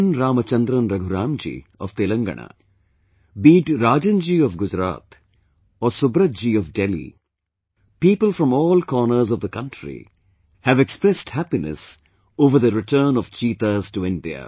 Ramachandran Raghuram ji of Telangana, be it Rajan ji of Gujarat or Subrata ji of Delhi, people from all corners of the country have expressed happiness over the return of cheetahs to India